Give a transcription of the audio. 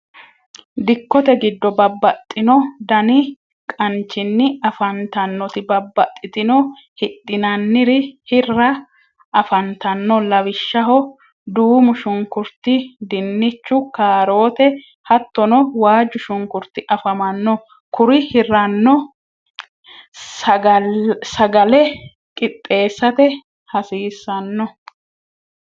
dikotte giddo babaxinno danni qaancinni afantanoti babaxitinoti hidhinanni hirra afantanno lawishshaho duumushunkurit, dinchu, karootte hatonno waajushunkuriti afamanno kuri hiranno sagalle qixeesate hasiisanno.